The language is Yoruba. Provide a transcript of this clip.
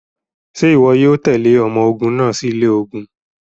Ṣe iwọ yoo tẹle ọmọ ogun naa si ilẹ ogun?